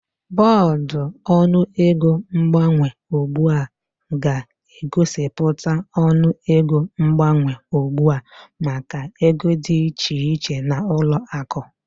Bọọdụ ọnụego mgbanwe ugbu a ga-egosipụta ọnụego mgbanwe ugbu a maka ego dị iche iche na ụlọ akụ